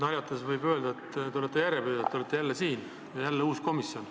Naljatades võib öelda, et te olete järjepidev: te olete jälle siin ja kõne all on jälle uus komisjon.